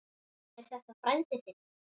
Er þetta frændi þinn?